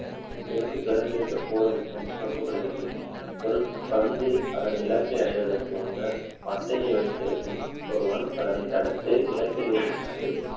இதிலிருந்து பிறந்திருக்ககூடும் என்று நம்பப்படுகிறது ஒரு பந்து அதன் நிலத்தை அடைவதற்கு முன்னர் மட்டையை வைத்திருக்கும் ஒருவன் அதனை தடுத்து இலக்கிலிருந்து